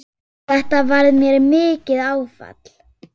Þetta varð mér mikið áfall.